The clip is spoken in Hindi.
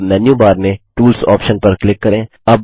अब मेन्यू बार में टूल्स ऑप्शन पर क्लिक करें